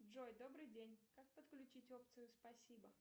джой добрый день как подключить опцию спасибо